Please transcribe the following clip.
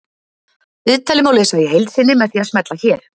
Viðtalið má lesa í heild sinni með því að smella hér